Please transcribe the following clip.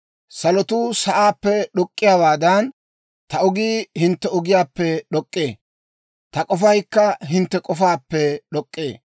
Salotuu sa'aappe d'ok'k'iyaawaadan, ta ogii hintte ogiyaappe d'ok'k'ee; ta k'ofaykka hintte k'ofaappe d'ok'k'ee.